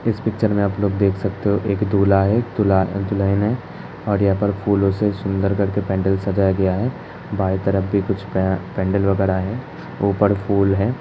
इस पिक्चर में आप लोग देख सकते हो एक दूल्हा है दुला दुल्हन है और यहाँं पर फूलों से सुंदर करके पेंडल सजाया गया है। बाये तरफ भी कुछ पा पेंडल वगैरा है ऊपर फूल है।